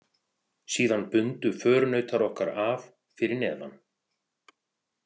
Síðan bundu förunautar okkar að fyrir neðan.